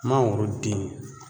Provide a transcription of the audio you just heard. Mangoro den